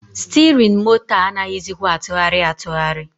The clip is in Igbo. Stirin moto a anaghịzịkwa atụgharị atụgharị.